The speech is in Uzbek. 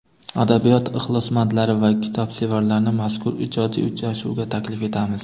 Adabiyot ixlosmandlari va kitobsevarlarni mazkur ijodiy uchrashuvga taklif etamiz!.